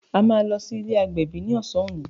A máa lọ sí ilé agbẹ̀bí ni ọsàn òní